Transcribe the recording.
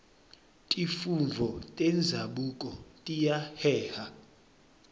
tifundvo tenzabuko tiyaheha